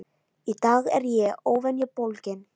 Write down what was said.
Í dag er ég óvenju bólgin.